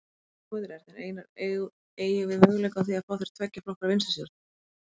Sigmundur Ernir: Einar, eygjum við möguleika á því að fá hér tveggja flokka vinstristjórn?